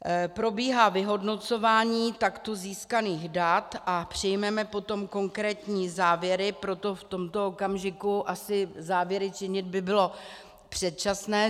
Probíhá vyhodnocování takto získaných dat a přijmeme potom konkrétní závěry, proto v tomto okamžiku asi závěry činit by bylo předčasné.